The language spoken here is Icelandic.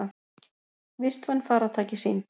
Vistvæn farartæki sýnd